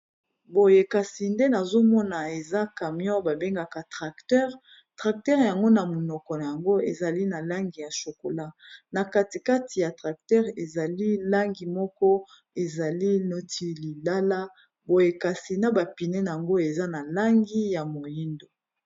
boyekasi nde nazomona eza camion babengaka tracteur tracteure yango na monoko na yango ezali na langi ya chokola na katikati ya tracteure ezali langi moko ezali noti lilala boyekasi na bapine yango eza na langi ya moindo